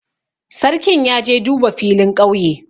Sarkin ya je duba filin ƙauye.